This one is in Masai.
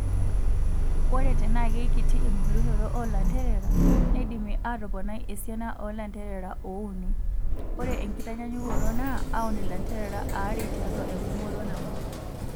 Ore tenaa keikiti embulunoto oolanterera neidimi aatoponai esiana oolanterera oouni, ore enkitanyanyukoto naa auun ilanterera aare tiatua engumoto nabo.